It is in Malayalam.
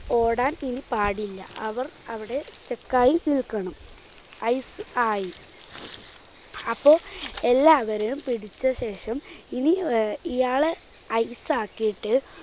ഓടാൻ ഇനി പാടില്ല. അവർ അവിടെ stuck ആയി നിൽക്കണം ice ആയി. അപ്പോൾ എല്ലാവരെയും പിടിച്ചശേഷം ഇനി അഹ് ഇയാളെ ice ആക്കിയിട്ട്